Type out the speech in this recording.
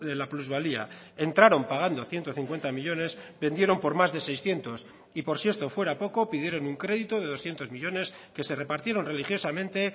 la plusvalía entraron pagando ciento cincuenta millónes vendieron por más de seiscientos y por si esto fuera poco pidieron un crédito de doscientos millónes que se repartieron religiosamente